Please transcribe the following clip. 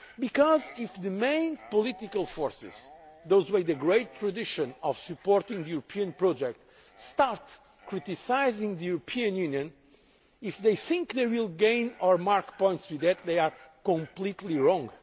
Because if the main political forces, those with the great tradition of supporting the European project, start criticising the European Union, if they think they will gain or make points with that, they are completely wrong.